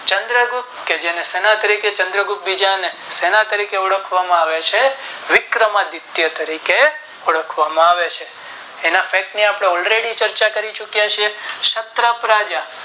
ચંદ્ર ગુપ્ત કે જેને સેનાએ તરીકે ચંદ્ર ગુપ્ત બીજા ને ઓળખવામાં આવે છે વિકર્મ આદિત્ય તરીકે ઓળખવામાં આવે છે એના Fact ની આપણે all ready ચર્ચા કરી ચુક્યા છીએ ક્ષત્રપ રાજા